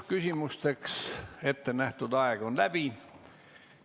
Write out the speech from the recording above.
Küsimusteks ette nähtud aeg on läbi.